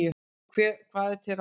Hvað er til ráða?